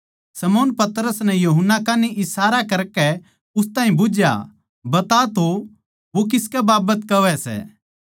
शमौन पतरस नै यूहन्ना कान्ही इशारा करकै उस ताहीं बुझ्झया बता तो वो किसकै बाबत कहवै सै